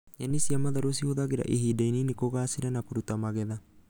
Nyeni cia matharũ cihuthagĩra ihinda inini kũgaacĩra na kũruta magetha